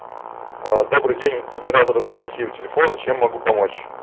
а добрый день оператор анастасия у телефона чем могу помочь